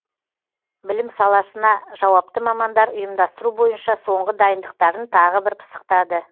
білім саласына жауапты мамандар ұйымдастыру бойынша соңғы дайындықтарын тағы бір пысықтады